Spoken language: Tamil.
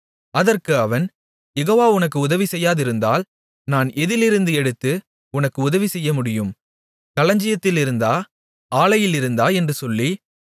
அதற்கு அவன் யெகோவா உனக்கு உதவி செய்யாதிருந்தால் நான் எதிலிருந்து எடுத்து உனக்கு உதவி செய்ய முடியும் களஞ்சியத்திலிருந்தா ஆலையிலிருந்தா என்று சொல்லி